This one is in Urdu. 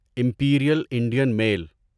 Imperial Indian mile